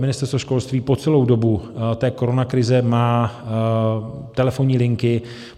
Ministerstvo školství po celou dobu té koronakrize má telefonní linky.